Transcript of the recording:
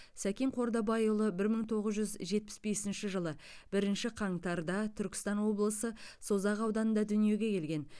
сәкен қордабайұлы бір мың тоғыз жүз жетпіс бесінші жылы бірінші қаңтарда түркістан облысы созақ ауданында дүниеге келген